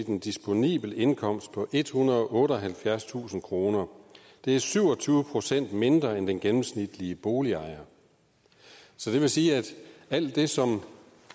en disponibel indkomst på ethundrede og otteoghalvfjerdstusind kroner det er syv og tyve procent mindre end den gennemsnitlige boligejer så det vil sige at alt det som